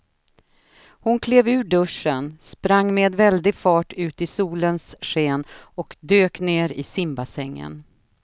Hon klev ur duschen, sprang med väldig fart ut i solens sken och dök ner i simbassängen.